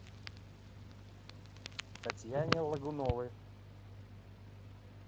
татьяне логуновой